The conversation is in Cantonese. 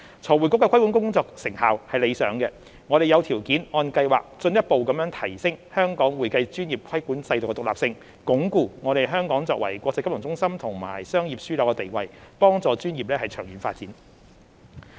財匯局的規管工作成效理想，我們有條件按計劃進一步提升香港會計專業規管制度的獨立性，鞏固香港作為國際金融中心和商業樞紐的地位，幫助專業的長遠發展。